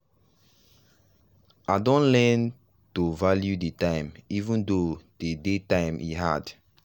i don learn to value the time even though dey day time e hard.